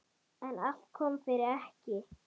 En allt kom fyrir ekki!